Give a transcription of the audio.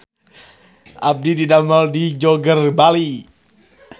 Abdi didamel di Joger Bali